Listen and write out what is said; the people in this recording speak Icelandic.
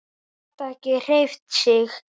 Gat ekki hreyft sig.